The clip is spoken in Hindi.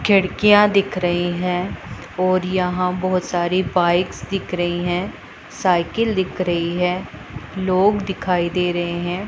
खिड़कियां दिख रही हैं और यहां बहुत सारी बाइक्स दिख रही हैं साइकिल दिख रही है लोग दिखाई दे रहे हैं।